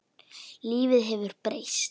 Lífið hefur breyst.